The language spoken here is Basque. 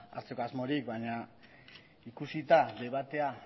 hartzeko asmorik baina ikusita debatea